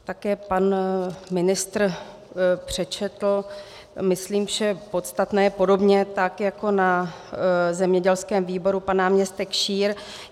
Také pan ministr přečetl, myslím, vše podstatné, podobně tak jako na zemědělském výboru pan náměstek Šír.